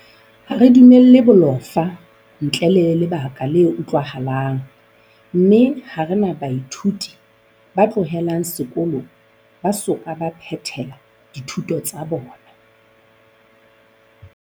Ha re dumelle bolofa, ntle le lebaka le utlwahalang, mme ha re na baithuti ba tlohelang sekolo ba soka ba phethela dithuto tsa bona.